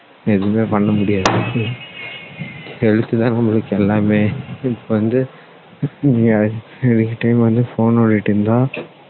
எதுவுமே பண்ண முடியாது health தான் நம்மளுக்கு எல்லாமே இப்போ வந்து நீங்க anytime வந்து phone நோண்டிடு இருந்தா